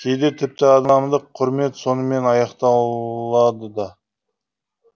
кейде тіпті адамдық құрмет сонымен аяқталады да